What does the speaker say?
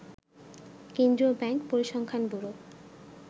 কেন্দ্রীয় ব্যাংক, পরিসংখ্যান ব্যুরো